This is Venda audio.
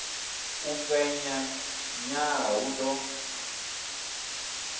u fhenya nḓala hu ḓo